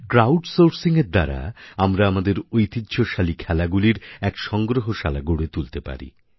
crowd Sourcingএর দ্বারা আমরা আমাদের ঐতিহ্যশালী খেলাগুলির এক সংগ্রহশালা গড়ে তুলতে পারি